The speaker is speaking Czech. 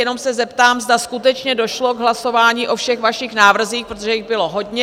Jenom se zeptám, zda skutečně došlo k hlasování o všech vašich návrzích, protože jich bylo hodně.